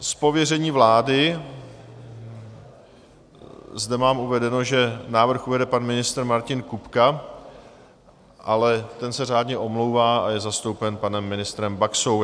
Z pověření vlády zde mám uvedeno, že návrh uvede pan ministr Martin Kupka, ale ten se řádně omlouvá a je zastoupen panem ministrem Baxou.